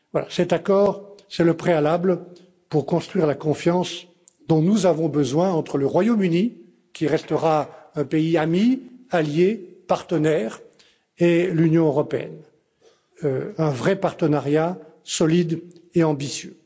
Cet accord est le préalable pour construire la confiance dont nous avons besoin entre le Royaume Uni, qui restera un pays ami, allié, partenaire, et l'Union européenne. Un vrai partenariat, solide et ambitieux.